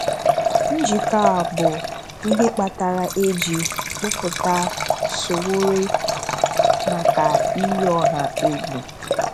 Njikọ a bụ ihe kpatara e ji kpụpụta Sowore maka iyi ọ̀hà égwù.